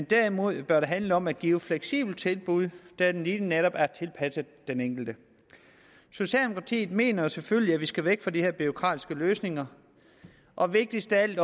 derimod handle om at give fleksible tilbud der lige netop er tilpasset den enkelte socialdemokratiet mener selvfølgelig at vi skal væk fra de her bureaukratiske løsninger og vigtigst af alt